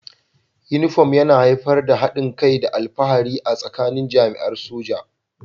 Uniform yana haifar da haɗin kai da alfahari a tsakanin jami'an soja